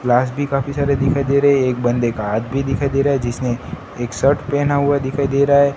Glass भी काफी सारे दिखाई दे रहे हैं एक बंदे का हाथ भी दिखाई दे रहा है जिसने एक शर्ट पहना हुआ दिखाई दे रहा है।